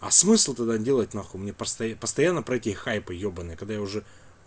а смысл тогда делать на хуй мне просто постоянно пройти хайпы ебанный когда я уже